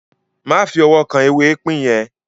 Má fi ọwọ́ kan “ ewé ipín ” yẹn!